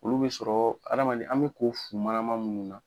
Olu be sɔrɔ adamaden an be ko fu manaman munnu na